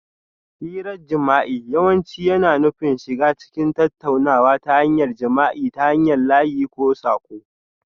Hirar jima'i yawanci yana nufin shiga cikin tattaunawa ta hanyar jima'i ta hanyar layi ko saƙo